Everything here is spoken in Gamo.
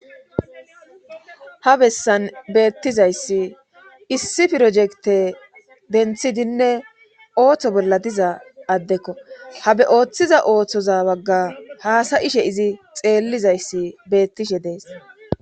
ha bessan beettizayssi issi pirojekte denthidinne ooththo bolla diza addekko habe ooththiza ooththoza bagga haasayishe izi xeellizayssi beettishe dees